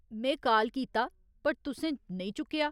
में काल कीता, पर तुसें नेईं चुक्केआ।